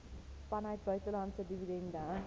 vanuit buitelandse dividende